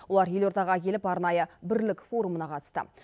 олар елордаға келіп арнайы бірлік форумына қатысты